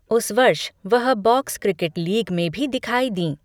उस वर्ष, वह बॉक्स क्रिकेट लीग में भी दिखाई दीं।